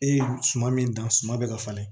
E ye suma min dan suma bɛ ka falen